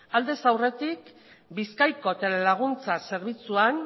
aldez aurretik bizkaiko telelaguntza zerbitzuan